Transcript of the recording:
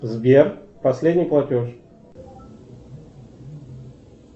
сбер последний платеж